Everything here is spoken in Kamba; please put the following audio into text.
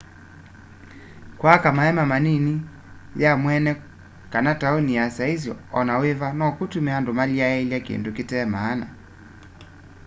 kwaka maeema malini ya mweene kana tauni ya saisi o na wiva nokutume andu malyaiilya kindu kite maana